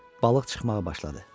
Balıq çıxmağa başladı.